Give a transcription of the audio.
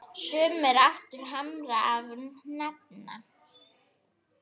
Sumir áttu harma að hefna.